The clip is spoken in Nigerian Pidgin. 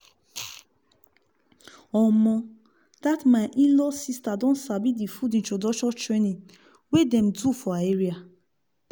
omo! that my in-law sister don sabi the food introduction training wey dem do for her area